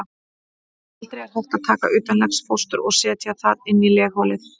Aldrei er hægt að taka utanlegsfóstur og setja það inn í legholið.